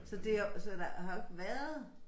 Så det og så der har jo ikke været